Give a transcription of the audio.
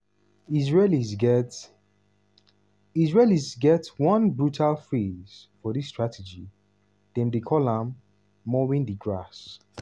israelis get israelis get one brutal phrase for dis strategy; dem dey call am "mowing di grass".